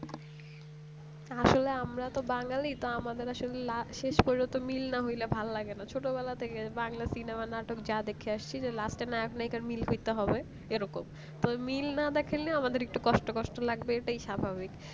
আসলে আমরা তো বাঙালি তো আমাদের ঐসব la শেষ পর্যন্ত মিল না হলে ভালো লাগে না ছোটবেলা থেকে বাংলা সিনেমা নাটক যাই দেখি আসছি last এ নায়ক নায়িকা মিল করতে হবে এইরকম তো মিল না দেখাইলে আমাদের একটু কষ্ট কষ্ট লাগবে এটাই স্বাভাবিক